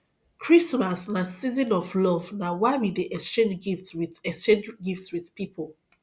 christmas na season of love na why we dey exchange gift wit exchange gift wit pipo